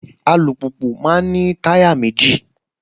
Alùpùpù máa ń ní táyà méjì